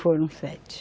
Foram sete.